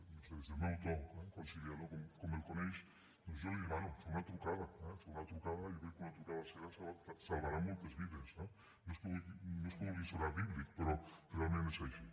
no ho sé des del meu to conciliador com el coneix doncs jo li demano fer una trucada eh fer una trucada jo crec que una trucada seva salvarà moltes vides eh no és que vulgui sonar bíblic però realment és així